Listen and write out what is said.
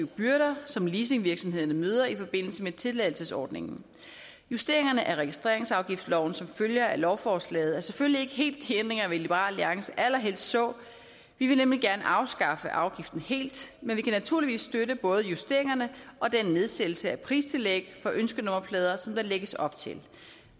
byrder som leasingvirksomhederne møder i forbindelse med tilladelsesordningen justeringerne af registreringsafgiftsloven som følger af lovforslaget er selvfølgelig ikke helt de ændringer vi i liberal alliance allerhelst så vi vil nemlig gerne afskaffe afgiften helt men vi kan naturligvis støtte både justeringerne og den nedsættelse af pristillæg for ønskenummerplader som der lægges op til